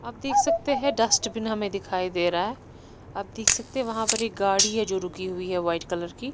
आप देख सकते हैं डस्टबिन हमें दिखाई दे रहा है आप देख सकते हैं वहां पर एक गाड़ी है जो रुकी हुई है वाइट कलर की।